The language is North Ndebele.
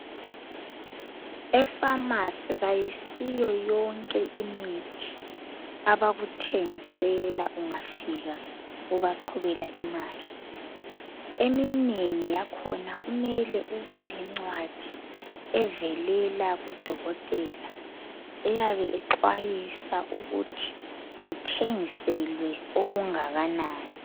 Efamasi kayisiyo yonke imithi abakuthengisela ungafika ubaqhubela imali, eminengi yakhona kumele ubelencwadi evelela kudokotela eyabe ixwayisa ukuthi uthengiselwe okungakanani.